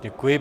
Děkuji.